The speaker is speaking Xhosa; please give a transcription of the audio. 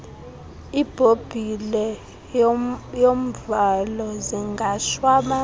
ibhobhile yomvalo zingashwabana